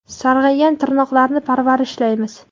Sarg‘aygan tirnoqlarni parvarishlaymiz.